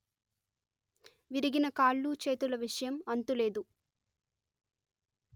విరిగిన కాళ్ళు చేతుల విషయం అంతులేదు